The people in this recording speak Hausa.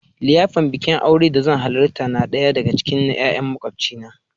liyafar Bikin aure da zan halarta na daya daga cikin 'ya'yan makwabcina.